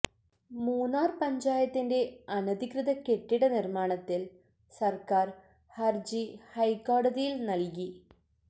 മൂന്നാർ പഞ്ചായത്തിന്റെ അനധികൃത കെട്ടിട നിർമ്മാണത്തിൽ സർക്കാർ ഹർജി ഹൈക്കോടതിയിൽ നൽകി